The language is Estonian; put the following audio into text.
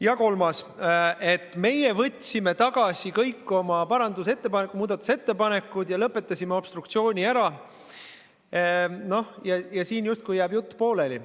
Ja kolmandaks: me võtsime tagasi kõik oma muudatusettepanekud ja lõpetasime obstruktsiooni ära ja siin justkui jääb jutt pooleli.